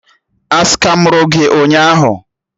A skamụrụ gị ụnyaahụ?